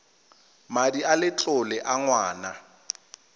madi a letlole a ngwana